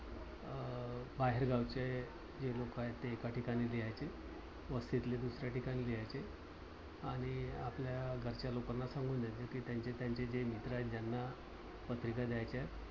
अं बाहेरगावचे जे लोक आहेत ते एकाठिकाणी लिहायचे. वस्तीतले दुसऱ्याठिकाणी लिहायचे आणि आपल्या घरच्या लोकांना सांगून द्यायचं कि त्यांचे त्यांचे जे मित्र आहेत. ज्यांना पत्रिका द्याच्यात